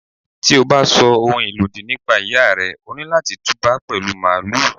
Tí o bá sọ ohun ìlòdì nípa Ìyá rẹ, o ní láti tú bá pẹ̀lú Màálù.